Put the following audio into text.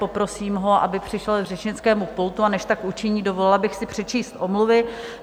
Poprosím ho, aby přišel k řečnickému pultu, a než tak učiní, dovolila bych si přečíst omluvy.